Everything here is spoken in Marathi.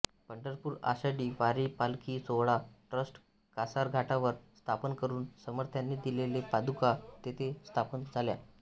पंढरपूर आषाढी वारी पालखी सोहळा ट्रस्ट कासारघाटावर स्थापन करून समर्थांनी दिलेल्या पादुका तेथे स्थापन झाल्या